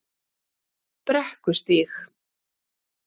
Brekkustíg